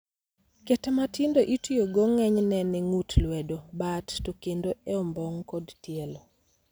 Kete matindo itiyogo ng'enyne e ngut lwedo, bat, to kendo e ombong' kod tielo.